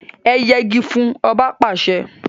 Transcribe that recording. E yegi fún! Oba pàse!